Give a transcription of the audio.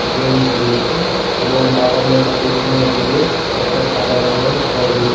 bench রয়েছে এবং বাগানের পিছনের দিকে একটা সাদা রঙের ঘর রয়ে--